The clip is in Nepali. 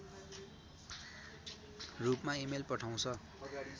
रूपमा इमेल पठाउँछ